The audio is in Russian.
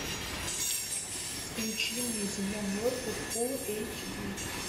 включи мне земля мертвых фулл эйч ди